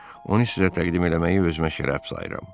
Onu sizə təqdim eləməyi özümə şərəf sayıram.